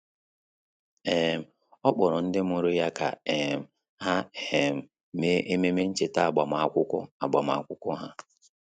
um Ọ́ kpọ̀rọ̀ ndị mụrụ ya kà um há um mèé ememe ncheta agbamakwụkwọ agbamakwụkwọ ha.